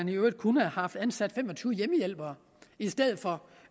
de kunne have haft ansat fem og tyve hjemmehjælpere i stedet for